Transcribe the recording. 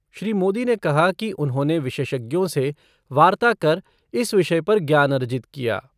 श्री मोदी ने कहा कि उन्होंने विशेषज्ञों से वार्ता कर इस विषय पर ज्ञान अर्जित किया।